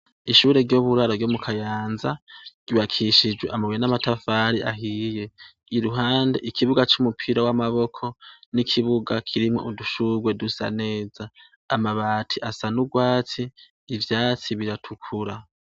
Ishure ry'uburaro ryo mu Kayanza ryubakishijwe amabuye n'amatafari ahiye. Iruhande, ikibuga c'umupira w'amaboko n'ikibuga kirimwo udushurwe dusa neza. Amabati asa n'urwatsi, ivyatsi biratukura.